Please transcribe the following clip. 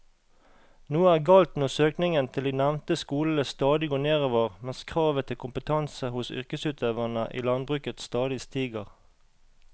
Noe er galt når søkningen til de nevnte skolene stadig går nedover mens kravet til kompetanse hos yrkesutøverne i landbruket stadig stiger.